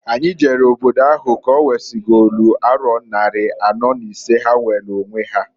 Anyi jere n'obodo ahụ ka owesigolu aro nnari anọọ n'isee ha nweelu onwe ha.